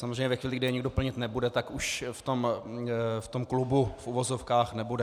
Samozřejmě ve chvíli, kdy je nikdo plnit nebude, tak už v tom klubu, v uvozovkách, nebude.